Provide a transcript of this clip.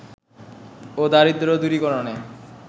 ও দারিদ্র দূরীকরণে